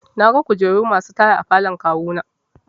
Naga kujeru masu taya a falon kawu na.